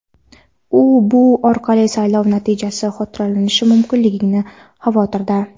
U bu orqali saylov natijasi soxtalashtirilishi mumkinligidan xavotirda.